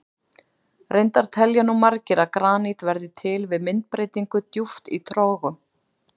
Reyndar telja nú margir að granít verði til við myndbreytingu djúpt í trogum.